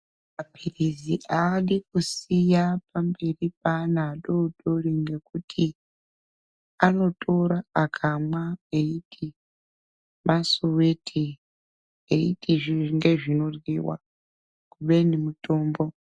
Maphirisi haadi kusiya pamberi peana adoodori ngekuti anotora akamwa eiti masiwiti eiti ngezvinoyiwa, kubenj mutombo.